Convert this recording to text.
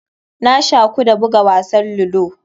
Na shaku da buga wasan ludo.